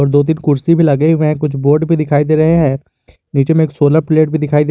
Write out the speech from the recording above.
दो तीन कुर्सी भी लगे हुए हैं कुछ बोर्ड भी दिखाई दे रहे हैं नीचे में एक सोलर प्लेट भी दिखाई दे रहा--